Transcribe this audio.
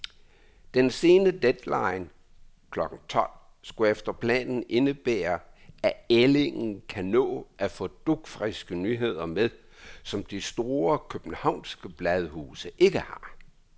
Den sene deadline klokken tolv skulle efter planen indebære, at ællingen kan nå at få dugfriske nyheder med, som de store københavnske bladhuse ikke har.